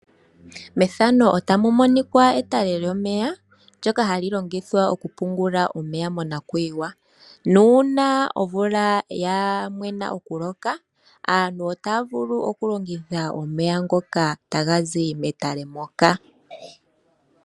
Methano otamu monika etale lyomeya ndyoka hali longithwa okupungula omeya monakuyiwa nuuna omvula ya mwena okuloka aantu otaa vulu okulongitha omeya ngoka taga zi metale moka.